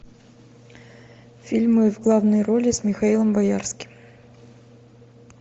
фильмы в главной роли с михаилом боярским